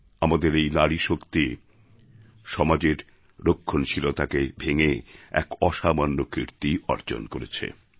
আমাদের এই নারীশক্তি সমাজের রক্ষণশীলতাকে ভেঙে এক অসামান্য কীর্তি অর্জন করেছে